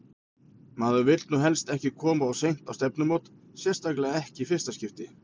Maður vill nú helst ekki koma of seint á stefnumót, sérstaklega ekki í fyrsta skipti!